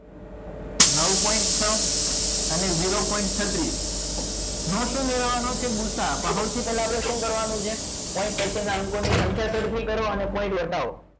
નવ point છ અને zero point છત્રીસ નવસો લેવાનો છે ભુસા પણ સૌથી પહેલા આપણે શું કરવાનું છે point પછીના અંકોની સંખ્યા ચડતી કરો અને point વધાવો